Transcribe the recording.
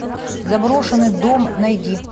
заброшенный дом найди